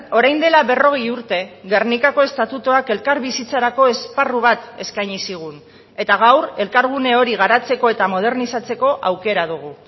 orain dela berrogei urte gernikako estatutuak elkarbizitzarako esparru bat eskaini zigun eta gaur elkargune hori garatzeko eta modernizatzeko aukera dugu